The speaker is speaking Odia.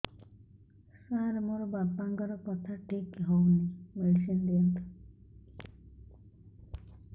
ସାର ମୋର ବାପାଙ୍କର କଥା ଠିକ ହଉନି ମେଡିସିନ ଦିଅନ୍ତୁ